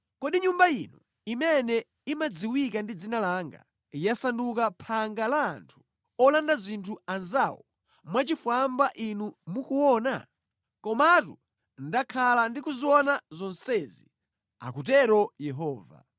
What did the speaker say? Kodi Nyumba ino imene imadziwika ndi Dzina langa, yasanduka phanga la anthu olanda zinthu anzawo mwachifwamba inu mukuona? Komatu ndakhala ndi kuziona zonsezi! akutero Yehova.”